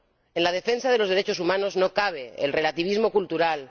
En la defensa de los derechos humanos no cabe el relativismo cultural